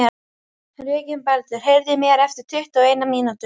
Reginbaldur, heyrðu í mér eftir tuttugu og eina mínútur.